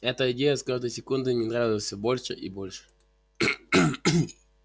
эта идея с каждой секундой мне нравилась всё больше и больше